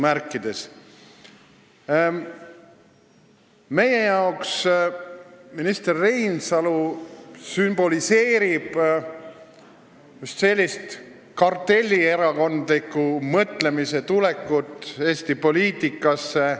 Meie jaoks sümboliseerib minister Reinsalu sellise kartellierakondliku mõtlemise tulekut Eesti poliitikasse.